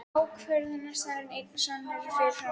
Ákvörðunarstaðurinn einn og samur og fyrirfram ákveðinn.